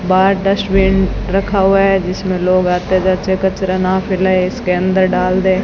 बाहर डस्टबिन रखा हुआ है जिसमें लोग आते जाते कचरा ना फैलाये इसके अंदर डाल दे।